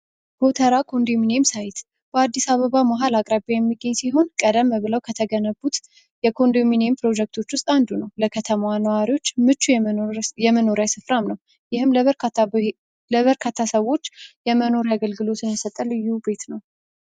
ጎተራ ኮንዶሚኒየም ሳይት በአዲስ አበባ ማህል ከተማ አካባቢ የሚገኝ ሲሆን ቀደም ብሎ ከተገነቡት የኮንዶሚኒየም ፕሮጀክቶች ውስጥ አንዱ ነው ለከተማ ነዋሪዎች የመኖሪያ ስፍራ ነው ይህም ለበርካታዎች የመኖሪያ አገልግሎት የሰጠ ልዩ ቤት ነው።